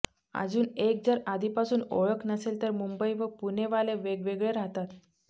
अजुन एक जर आधीपासुन ओळख नसेल तर मुंबई व पुणेवाले वेगवेगळे रहातात